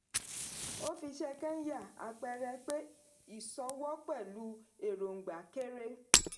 ó fi iṣẹ́ kenya àpẹẹrẹ pé ìsọwọ́ pẹ̀lú èròngbà kéré.